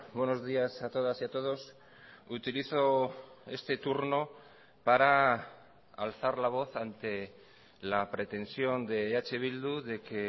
buenos días a todas y a todos utilizo este turno para alzar la voz ante la pretensión de eh bildu de que